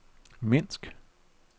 Minsk